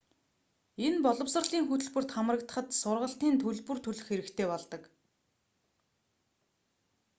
энэ боловсролын хөтөлбөрт хамрагдахад сургалтийн төлбөр төлөх хэрэгтэй болдог